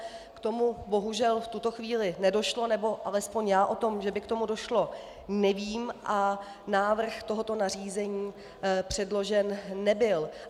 K tomu bohužel v tuto chvíli nedošlo nebo alespoň já o tom, že by k tomu došlo, nevím, a návrh tohoto nařízení předložen nebyl.